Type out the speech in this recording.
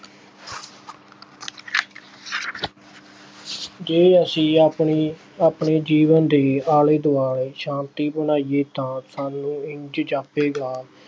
ਜੇ ਅਸੀ ਆਪਣੀ ਆਪਣੇ ਜੀਵਨ ਦੀ ਆਲੇ ਦੁਆਲੇ ਸ਼ਾਂਤੀ ਬਣਾਈਏ ਤਾਂ ਸਾਨੂੰ ਇੰਝ ਜਾਪੇਗਾ,